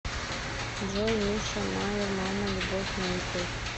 джой миша майер мама любовь на ютуб